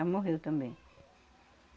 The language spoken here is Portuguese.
morreu também.